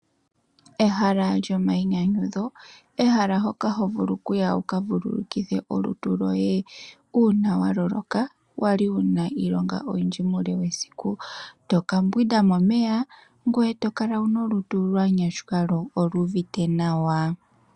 Ehala lyomainyanyudho olyo ehala hoka hovulu okuya, opo wuka vululukithe olutu lwoye uuna wavulwa, wali wuna iilonga oyindji muule wesiku. Toka mbwinda momeya, ngoye tokala wu na olutu lwa nyashuka, lyo olyu uvite nawa.